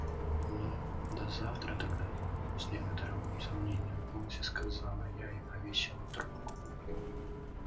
ну до завтра тогда с некоторым сомнением в голосе сказала я и повесила трубку